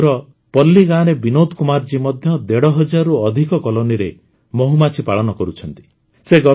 ଜାମ୍ମୁର ପଲ୍ଲୀ ଗାଁରେ ବିନୋଦ କୁମାର ଜୀ ମଧ୍ୟ ଦେଢ଼ ହଜାରରୁ ଅଧିକ କଲୋନିରେ ମହୁମାଛି ପାଳନ କରୁଛନ୍ତି